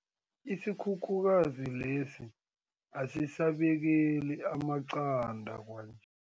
Isikhukhukazi lesi asisabekeli amaqanda kwanje.